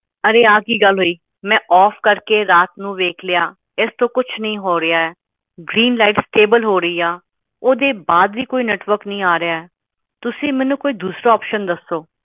ਅਰੇ ਆ ਕੀ ਗੱਲ ਹੋਈ ਮੈਂ ਓਫ ਕਰਕੇ ਰਾਤ ਨੂੰ ਵੇਖਲਿਆ ਇਸ ਤੋਂ ਕੁਛ ਨਹੀਂ ਹੋ ਰਿਹਾ ਗ੍ਰੀਨ ਲਾਈਟ ਸਟੇਬਲ ਹੋ ਰਹੀ ਆ ਓਹਦੇ ਬਾਅਦ ਵੀ ਕੋਈ ਨੈੱਟਵਰਕ ਨਹੀਂ ਆ ਰਿਹਾ ਤੁਸੀਂ ਮੈਨੂੰ ਕੋਈ ਦੂਸਰਾ ਓਪਸ਼ਨ ਦੱਸੋ